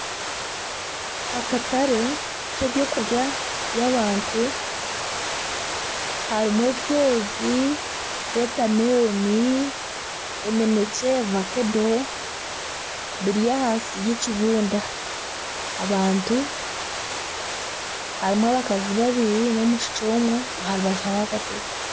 Akatare k'eby'okurya by'abantu harimu ebyozi, wotameloni, eminekye, vakedo biri ahansi y'ekibunda. Abantu harimu abakazi babiri n'omwishiki omwe aha rubaju hariho akatebe.